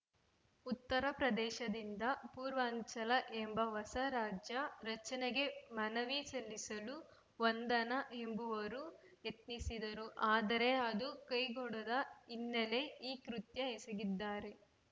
ಉತ್ತರ ಪ್ರದೇಶದಿಂದ ಪೂರ್ವಾಂಚಲ ಎಂಬ ಹೊಸ ರಾಜ್ಯ ರಚನೆಗೆ ಮನವಿ ಸಲ್ಲಿಸಲು ವಂದನಾ ಎಂಬುವರು ಯತ್ನಿಸಿದ್ದರು ಆದರೆ ಅದು ಕೈಗೂಡದ ಹಿನ್ನೆಲೆ ಈ ಕೃತ್ಯ ಎಸಗಿದ್ದಾರೆ